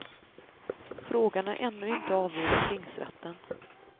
Frågan är ännu inte avgjord av tingsrätten.